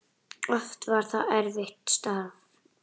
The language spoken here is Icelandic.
Oft var það erfitt starf.